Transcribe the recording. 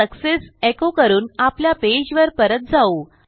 आता success echo करून आपल्या पेजवर परत जाऊ